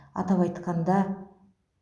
атап айтқанда